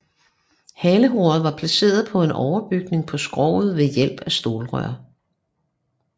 Haleroret var placeret på en overbygning på skroget ved hjælp af stålrør